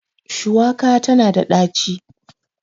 shuwaka tana da daci